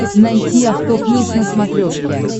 найти авто плюс на смотрешке